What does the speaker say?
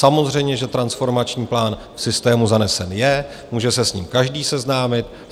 Samozřejmě, že transformační plán v systému zanesen je, může se s ním každý seznámit.